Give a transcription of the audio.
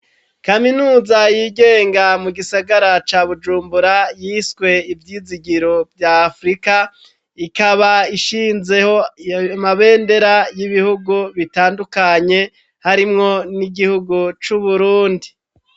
Kaminuza yigenga, mu gisagara ca Bujumbura, yiswe ivyizigiro vya Afurika, ikaba ishinzeho amabendera y'ibihugu bitandukanye, harimwo n'igihugu c'Uburundi.